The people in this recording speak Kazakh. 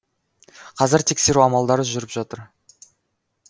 қазір тексеру амалдары жүріп жатыр